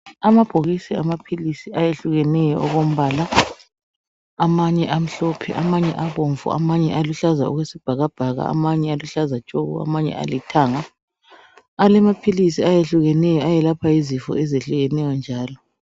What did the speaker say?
Amabhokisi amaphilisi ayehlukeneyo okwembala amanye amhlophe, amanye abomvu, amanye aluhlaza okwesibhakabhaka, amanye aluhlaza tshoko, amanye alithanga alamaphilisi ayehlukeneyo ayelapha izifo ezehlukeneyo njalo.